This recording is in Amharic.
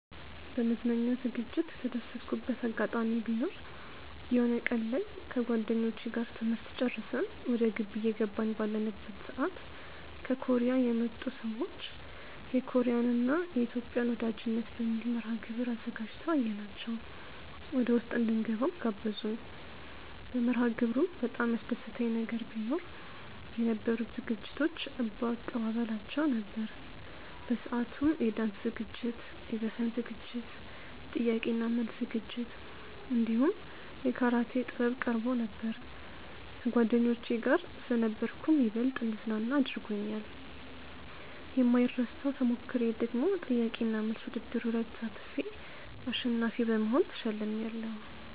በመዝናኛ ዝግጅት የተደሰትኩበት አጋጣሚ ቢኖር የሆነ ቀን ላይ ከጓደኞቼ ጋር ትምህርት ጨርሰን ወደ ግቢ እየገባን ባለንበት ሰዓት ከኮርያ የመጡ ሰዎች የኮርያን እና የኢትዮጵያን ወዳጅነት በሚል መርሐግብር አዘጋጅተው አየናቸው ወደውስጥ እንድንገባም ጋበዙን። በመርሐግብሩም በጣም ያስደሰተኝ ነገር ቢኖ የነበሩት ዝግጅቶች እባ አቀባበላቸው ነበር። በሰአቱም የዳንስ ዝግጅት፣ የዘፈን ዝግጅት፣ የጥያቄ እና መልስ ዝግጅት እንዲሁም የካራቴ ጥበብ ቀርቦ ነበር። ከጓደኞቼ ጋር ስለነበርኩም ይበልጥ እንድዝናና አድርጎኛል። የማይረሳው ተሞክሮዬ ደግሞ ጥያቄ እና መልስ ውድድሩ ላይ ተሳትፌ አሸናፊ በመሆን ተሸልሜያለው።